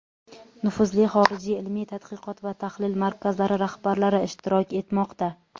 nufuzli xorijiy ilmiy-tadqiqot va tahlil markazlari rahbarlari ishtirok etmoqda.